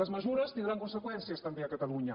les mesures tindran conseqüències també a catalunya